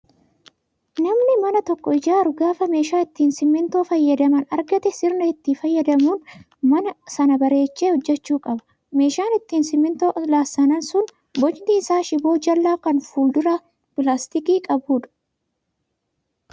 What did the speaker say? Namni mana tokko ijaaru gaafa meeshaa ittiin simmintoo fayyadaman argate sirnaan itti fayyadamuun mana sana bareechee hojjachuu qaba. Meeshaan ittiin simmintoo lassanan sun bocni isaa shiboo jallaa kan fuulduraan pilaastika qabudha.